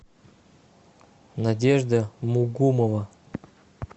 надежда мугумова